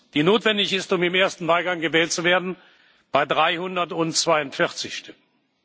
die notwendig ist, um im ersten Wahlgang gewählt zu werden, bei 342 Stimmen.